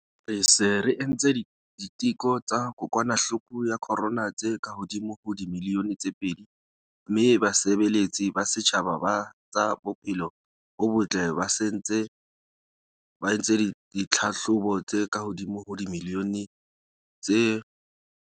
Re se re entse diteko tsa kokwanahloko ya corona tse kahodimo ho dimilione tse pedi mme basebeletsi ba setjhaba ba tsa bophelo bo botle ba se ba entse ditlhahlobo tse kahodimo ho dimilione tse